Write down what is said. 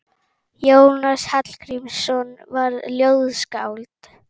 Jónas Hallgrímsson var ljóðskáld.